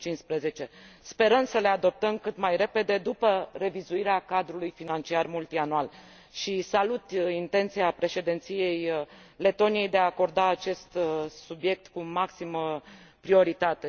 2015. Sperăm să le adoptăm cât mai repede după revizuirea cadrului financiar multianual și salut intenția Președinției letone de a aborda acest subiect cu maximă prioritate.